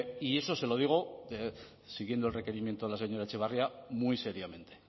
y eso se lo digo siguiendo el requerimiento de la señora etxebarria muy seriamente